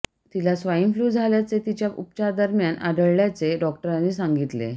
तिला swine flu झाल्याचे तिच्या उपचारादरम्यान आढळल्याचे डॉक्टरांनी सांगितले